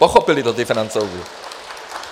Pochopili to ti Francouzi.